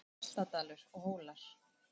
Framundan var Hjaltadalur og Hólar.